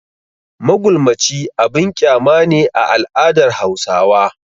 Magulmaci abin kyama ne a al'adar Hausawa.